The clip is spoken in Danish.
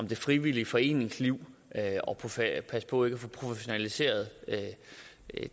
det frivillige foreningsliv og passe passe på ikke at få professionaliseret